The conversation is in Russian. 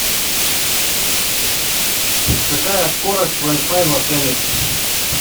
какая скорость вай фай в отеле